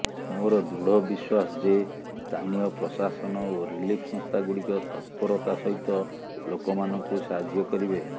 ମୋର ଦୃଢ ବିଶ୍ୱାସ ଯେ ସ୍ଥାନୀୟ ପ୍ରଶାସନ ଓ ରିଲିଫ୍ ସଂସ୍ଥା ଗୁଡିକ ତତ୍ପରତା ସହିତ ଲୋକମାନଙ୍କୁ ସାହାଯ୍ୟ କରିବେ